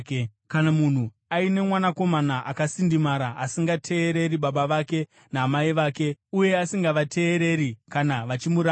Kana munhu aine mwanakomana akasindimara asingateereri baba vake namai vake uye asingavateereri kana vachimuranga,